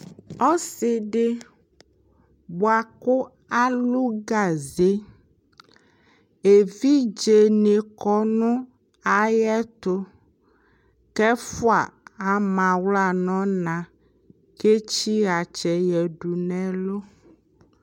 Ɔsɩ dɩ bʋakʋ alʋ gaze evɩdze nɩ kɔ nʋ ayɛtʋ kɛ ɛfʋa amaɣla nɔna ketsɩɣatsɛ yadʋ nɛlʋ